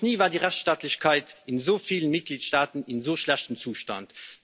Noch nie war die Rechtsstaatlichkeit in so vielen Mitgliedstaaten in so schlechtem Zustand.